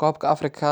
Koobka Afrika